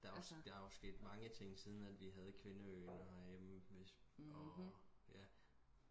der er også der er også sket mange ting siden vi havde kvindeøen herhjemme hvis og ja